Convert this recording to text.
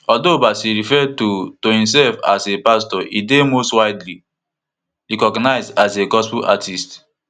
although bassey refer to to imself as a pastor e dey most widely recognised as a gospel artist